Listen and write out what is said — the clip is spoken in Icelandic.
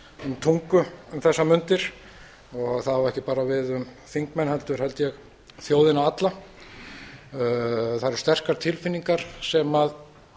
um tungu um þessar mundir það á ekki bara við um þingmenn heldur held ég þjóðina alla það eru sterkar tilfinningar